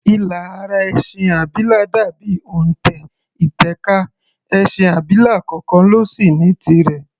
Ilà ara ẹṣin abilà dà bí òntẹ̀ ìtẹ̀ka, ẹṣin abilà kọọkàn ló sì ní tirẹ̀.